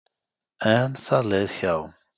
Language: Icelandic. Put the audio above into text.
En það leið hjá.